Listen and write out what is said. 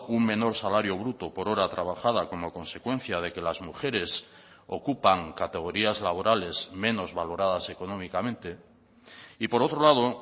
un menor salario bruto por hora trabajada como consecuencia de que las mujeres ocupan categorías laborales menos valoradas económicamente y por otro lado